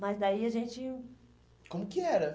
Mas daí a gente... Como que era?